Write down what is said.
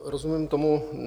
Rozumím tomu.